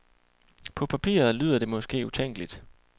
På papiret lyder det måske utænkeligt.